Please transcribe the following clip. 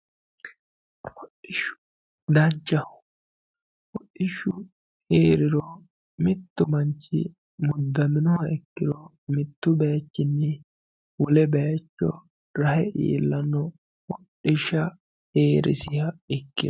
Hodhishshu danchaho, hodhishshu heeriro mitu manchi mudanoha ikkiro mitu bayichinni wole bayicho rahe iillano hodhishshu heerisiha ikkiro.